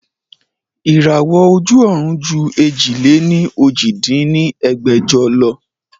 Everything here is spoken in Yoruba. Ìràwọ́ ojú ọ̀run ju èjì-lé-ní-ojì dín ní ẹgbẹ́jọ lọ